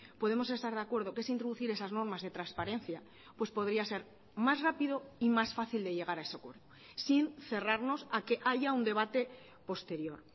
podemos estar de acuerdo que es introducir esas normas de transparencia pues podría ser más rápido y más fácil de llegar a ese acuerdo sin cerrarnos a que haya un debate posterior